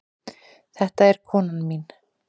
Þetta er konan mín.